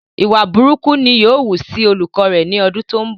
ìwà burúkú ni yóò wú sí olùkọ rẹ ni ọdún tó ń bọ̀